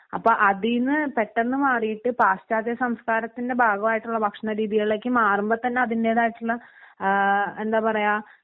അപ്പൊ അതിനു പെട്ടെന്ന് മാറീട്ട് പാശ്ചാത്യ സംസ്കാരത്തിൻ്റെ ഭാഗമായിട്ടുള്ള ഭക്ഷണരീതികളിലേക്ക് മാറുമ്പോതന്നെ അതിൻ്റെതായിട്ടുള്ള ആ എന്താ പറയാ